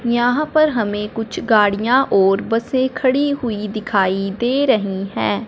यहां पर हमें कुछ गाड़ियां और बसे खड़ी हुई दिखाई दे रही है।